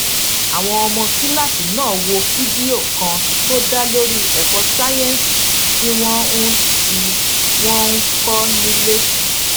àwọn ọmọ kíláàsì náà wo fídíò kan tó dá lórí èkó sáyéǹsì tí wón ń tí wón ń kó nílé